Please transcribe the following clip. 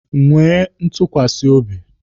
Nwee ntukwasi obi!